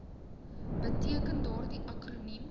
beteken daardie akroniem